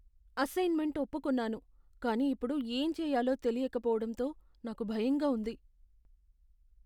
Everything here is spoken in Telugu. అసైన్మెంట్ ఒప్పుకున్నాను కానీ ఇప్పుడు ఏం చేయాలో తెలియక పోవడంతో నాకు భయంగా ఉంది.